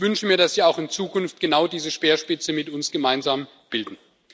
Ich wünsche mir, dass Sie auch in Zukunft genau diese Speerspitze mit uns gemeinsam bilden.